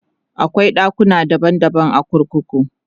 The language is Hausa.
akwai ɗakuna daban daban a kurkuku